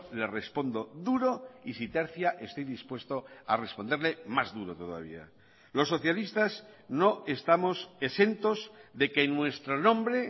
le respondo duro y si tercia estoy dispuesto a responderle más duro todavía los socialistas no estamos exentos de que nuestro nombre